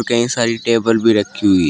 कई सारी टेबल भी रखी हुई है।